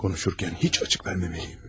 Konuşurkən heç açıq verməməliyəm.